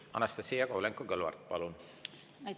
Anastassia Kovalenko-Kõlvart, palun!